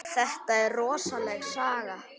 Þetta er rosaleg saga.